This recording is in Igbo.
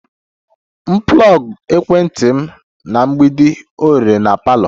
M plugged ekwentị m na mgbidi oghere na parlour